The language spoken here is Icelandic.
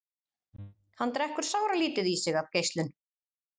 Hann drekkur sáralítið í sig af geislun.